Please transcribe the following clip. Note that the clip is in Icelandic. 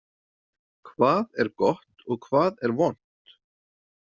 Hvað er gott og hvað er vont?